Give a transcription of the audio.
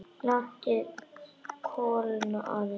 Látið kólna aðeins.